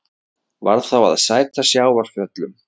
Varð þá að sæta sjávarföllum.